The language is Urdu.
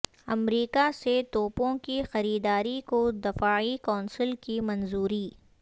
امریکہ سے توپوں کی خریداری کو دفاعی کونسل کی منظوری